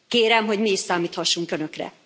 Kérem, hogy mi is számíthassunk Önökre.